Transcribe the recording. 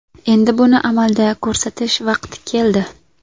Endi buni amalda ko‘rsatish vaqti keldi.